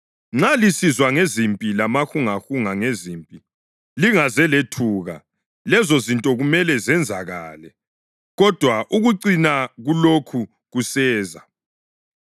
Nxa lisizwa ngezimpi lamahungahunga ngezimpi, lingaze lethuka. Lezozinto kumele zenzakale, kodwa ukucina kulokhu kuseza.